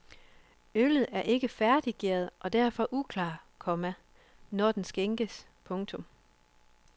Øllen er ikke færdiggæret og derfor uklar, komma når den skænkes. punktum